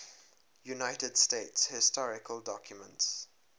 united states historical documents